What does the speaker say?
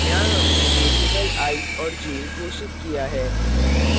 यहाँ हमने variables i और j घोषित किया है